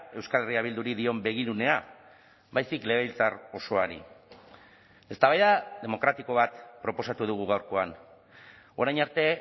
euskal herria bilduri dion begirunea baizik legebiltzar osoari eztabaida demokratiko bat proposatu dugu gaurkoan orain arte